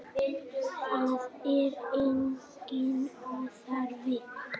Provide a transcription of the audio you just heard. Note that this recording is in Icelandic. Það er enginn óþarfi.